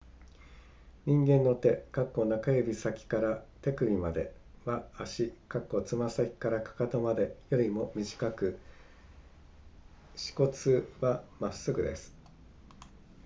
人間の手中指先から手首までは足つま先から踵までよりも短く指骨はまっすぐです